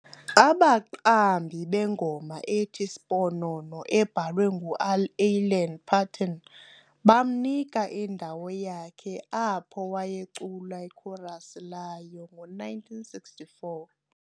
Abaqambi bengoma ethi "Sponono", ebhalwe ngu"Alan Paton", bamnika indawo yakhe apho wayecula ikhorasi layo ngo1964.